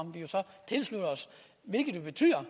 tilslutter os hvilket betyder